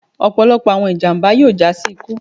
ọpọlọpọ awọn ijamba yoo ja si iku